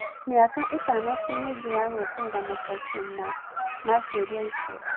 Mĩaka ĩtano tĩmĩingĩ ya gũeterera macokio ma-cioria icio.